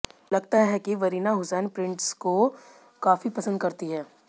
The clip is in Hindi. लगता है कि वरीना हुसैन प्रिंट्स को काफी पसंद करती हैं